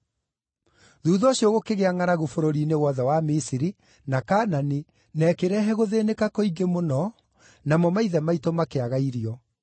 “Thuutha ũcio gũkĩgĩa ngʼaragu bũrũri-inĩ wothe wa Misiri, na Kaanani, na ĩkĩrehe gũthĩĩnĩka kũingĩ mũno, namo maithe maitũ makĩaga irio.